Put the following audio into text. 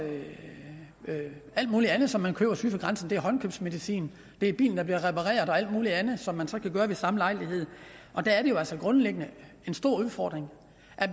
alt muligt andet som man køber syd for grænsen det er håndkøbsmedicin det er bilen der bliver repareret og alt muligt andet som man så kan gøre ved samme lejlighed det er jo altså grundlæggende en stor udfordring